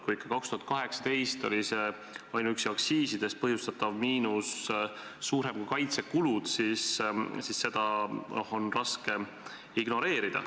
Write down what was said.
Kui ikka 2018 oli ainuüksi aktsiisidest põhjustatud miinus suurem kui kaitsekulud, siis seda on raske ignoreerida.